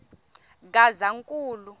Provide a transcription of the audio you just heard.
gazankulu